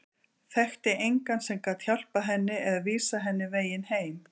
Þekkti engan sem gat hjálpað henni eða vísað henni veginn heim.